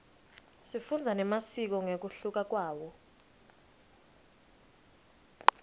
sifundza nemasiko ngekuhluka kwawo